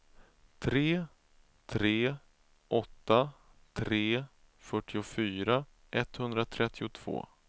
tre tre åtta tre fyrtiofyra etthundratrettiotvå